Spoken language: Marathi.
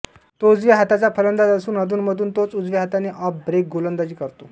तो उजव्या हाताचा फलंदाज असून अधूनमधून तोच उजव्या हाताने ऑफ ब्रेक गोलंदाजी करतो